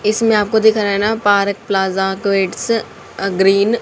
इसमें आपको दिख रहा है ना park plaza creates a green.